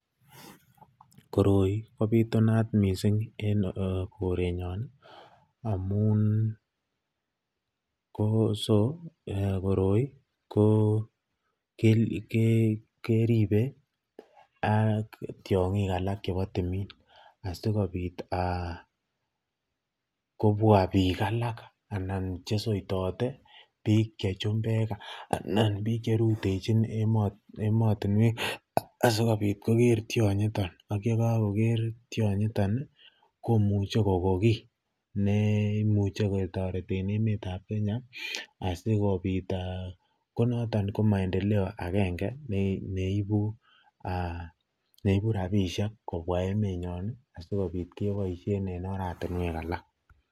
koroi kobitunat en korenyoon amuun ko so korooi keribe ak tyongiik alak chebo tumiin asigobiit kobwaa biik alak chesweitote biik chechumbeek anan biik cherutechin emotinweek asigobiit kogeer tyongiton ak yegagogeer tyonyiton iih komuche kogoon kii neimuche ketoreteen emet ab kenya asigobiit aah, konoton ko maendeleo agenge neibu rabisheek kobwaa emet nyoon asigobiit keboishen en oratinweek alak.